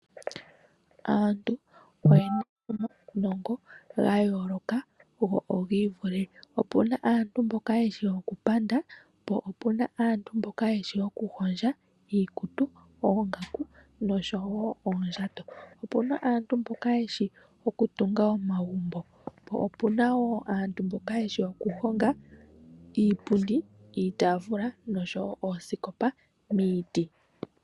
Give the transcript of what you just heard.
Aantu oye na omawunongo gayooloka go ogiivule, opuna aantu mboka yeshi okupanda, po opuna aantu mboka yeshi okuhondja iikutu, oongaku noshowo oondjato, opuna wo aantu mboka yeshi okutunga omagumbo, po opuna woo aantu mboka yeshi okuhonga iipundi, iitaafula noshowo oosikopa miiti.